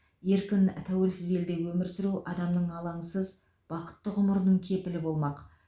еркін тәуелсіз елде өмір сүру адамның алаңсыз бақытты ғұмырының кепілі болмақ